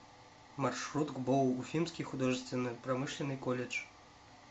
маршрут гбоу уфимский художественно промышленный колледж